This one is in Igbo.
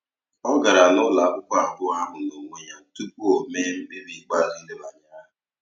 Ọ gara n'ụlọ akwụkwọ abụọ ahụ n'onwe ya tupu o mee mkpebi ikpeazụ idebanye aha.